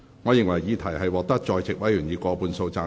我認為議題獲得在席委員以過半數贊成。